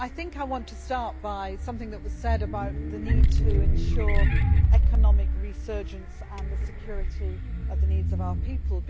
I want to start with something that was said about the need to ensure economic resurgence and the security of the needs of our people.